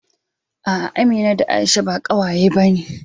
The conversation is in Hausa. A'a, Amina da Aisha ba ƙawaye bane